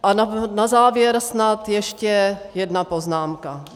A na závěr snad ještě jedna poznámka.